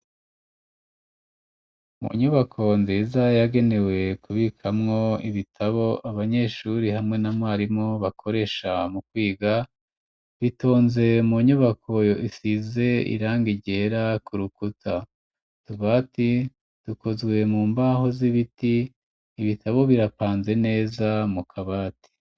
Munyubako nziza yagenewe kubikamwo ibitabo abanyeshuri hamwe n'amwarimu bakoresha mu kwiga, bitonze mu nyubako isize irangi ryera ku rukuta, utubati dukozwe mu mbaho z'ibiti ibitabo birapanze neza mu kabati.